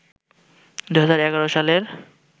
২০১১ সালের